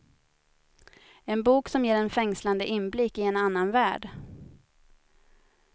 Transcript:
En bok som ger en fängslande inblick i en annan värld.